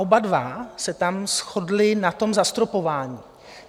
Oba dva se tam shodli na tom zastropování.